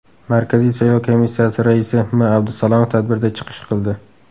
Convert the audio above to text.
Markaziy saylov komissiyasi raisi M. Abdusalomov tadbirda chiqish qildi.